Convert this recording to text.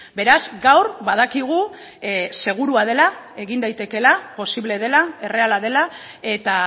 beraz gaur badakigu segurua dela egin daitekeela posible dela erreala dela eta